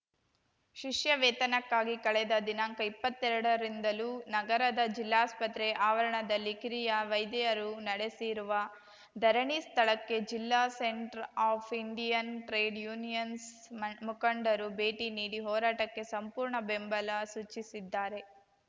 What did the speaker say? ಶಿಷ್ಯ ವೇತನಕ್ಕಾಗಿ ಕಳೆದ ದಿನಾಂಕಇಪ್ಪತ್ತೆರಡರಿಂದಲೂ ನಗರದ ಜಿಲ್ಲಾಸ್ಪತ್ರೆ ಆವರಣದಲ್ಲಿ ಕಿರಿಯ ವೈದ್ಯರು ನಡೆಸಿರುವ ಧರಣಿ ಸ್ಥಳಕ್ಕೆ ಜಿಲ್ಲಾ centre of Indian trade unions ಮ ಮುಖಂಡರು ಭೇಟಿ ನೀಡಿ ಹೋರಾಟಕ್ಕೆ ಸಂಪೂರ್ಣ ಬೆಂಬಲ ಸೂಚಿಸಿದ್ದಾರೆ